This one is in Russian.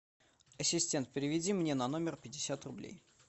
ассистент переведи мне на номер пятьдесят рублей